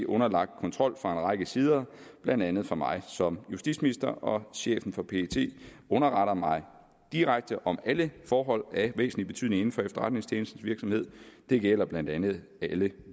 underlagt kontrol fra en række sider blandt andet fra mig som justitsminister og chefen for pet underretter mig direkte om alle forhold af væsentlig betydning inden for efterretningstjenestens virksomhed det gælder blandt andet alle